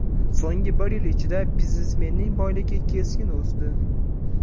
So‘nggi bir yil ichida biznesmenning boyligi keskin o‘sdi.